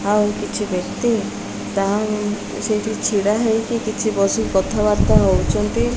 ଆଉ କିଛି ବ୍ୟକ୍ତି ତାହଂ ସେଇଠି ଛିଡ଼ା ହେଇକି କିଛି ବସି କଥା ବାର୍ତ୍ତା ହଉଚନ୍ତି ।